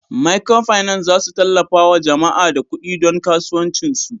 "microfinance" zasu tallafawa jama'a da kudi don kasuwanci su.